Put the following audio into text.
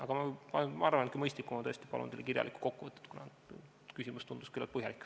Aga ma arvan, et mõistlikum on tõesti see, kui ma palun teile kirjalikku kokkuvõtet, kuna küsimus tundus küllaltki põhjalik.